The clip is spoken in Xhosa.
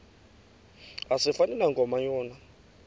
asifani nankomo yona